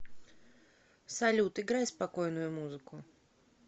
салют играй спокойную музыку